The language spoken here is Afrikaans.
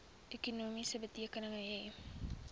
ekonomie betrekking hê